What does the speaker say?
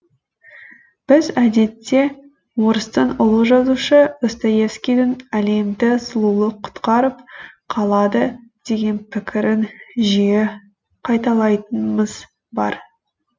біз әдетте орыстың ұлы жазушы достоевскийдің әлемді сұлулық құтқарып қалады деген пікірін жиі қайталайтынбыз бар